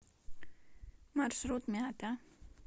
маршрут мята